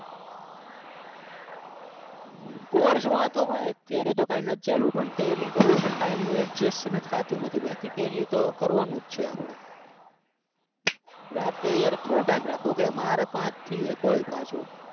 course માં તો હું અત્યારે બકા નથ ચાલુ પણ tally કરવી છે પણ time નું adjust થાતું નથી બાકી tally તો કરવાની છે આપડે રાતે yaar કેટલો time રાખવો કે મારે પાંચ થી એક હોય પાછુ